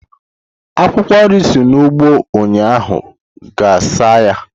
Akwụkwọ nri si n'ugbo ụnyaahụ gaa saa ya!